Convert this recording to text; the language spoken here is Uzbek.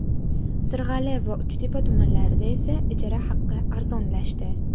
Sirg‘ali va Uchtepa tumanlarida esa ijara haqi arzonlashdi.